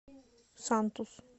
сантус